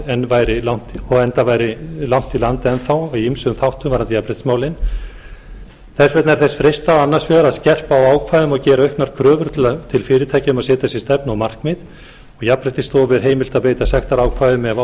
enda væri langt í land enn þá í ýmsum þáttum varðandi jafnréttismálin þess vegna er þess freistað annars vegar að skerpa á ákvæðum og gera auknar kröfur til fyrirtækja um að setja sér stefnu og markmið og jafnréttisstofu er heimilt að beita sektarákvæðum ef á þarf